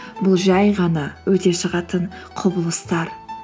бұл жай ғана өте шығатын құбылыстар